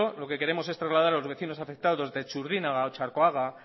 lo que queremos es trasladar a los vecinos afectados de txurdinaga otxarkoaga